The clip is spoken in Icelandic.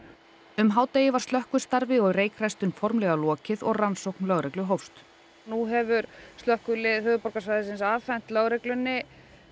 um hádegi var slökkvistarfi og formlega lokið og rannsókn lögreglu hófst nú hefur slökkvilið höfuðborgarsvæðisins afhent lögreglunni